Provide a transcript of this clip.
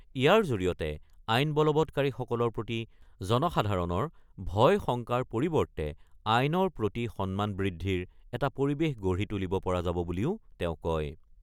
ইয়াৰ জৰিয়তে আইন বলৱৎকাৰীসকলৰ প্ৰতি জনসাধাৰণৰ ভয়-শংকাৰ পৰিৱৰ্তে আইনৰ প্ৰতি সন্মান বৃদ্ধিৰ এটা পৰিৱেশ গঢ়ি তুলিব পৰা যাব বুলিও তেওঁ কয়।